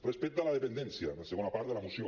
respecte a la dependència la segona part de la moció